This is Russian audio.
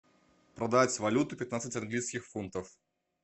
продать валюту пятнадцать английских фунтов